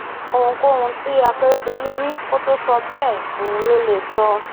ohunkóhun tí akérèdọlù rí kó tóó sọ bẹẹ òun lo lè sọ